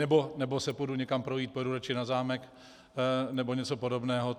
Nebo se půjdu někam projít, pojedu radši na zámek nebo něco podobného.